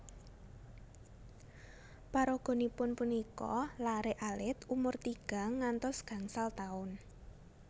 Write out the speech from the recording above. Paraganipun punika laré alit umur tigang ngantos gangsal taun